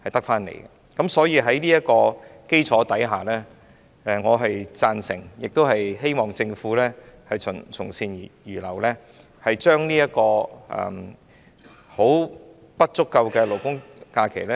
因此，在這基礎上，我贊成及希望政府從善如流，增加現時並不足夠的勞工假期。